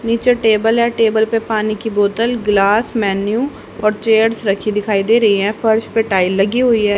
नीचे टेबल है टेबल पे पानी की बोतल ग्लास मेन्यू और चेयर्स रखी दिखाई दे रही हैं फर्श पे टाइल लगी हुई है।